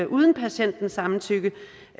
uden patientens samtykke